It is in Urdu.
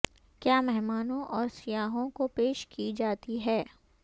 کیا مہمانوں اور سیاحوں کو پیش کی جاتی ہے